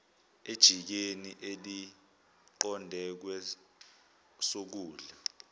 ejikeni eliqonde kwesokudla